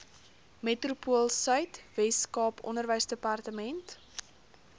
metropoolsuid weskaap onderwysdepartement